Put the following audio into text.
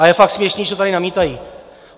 A je fakt směšné, že tady namítají.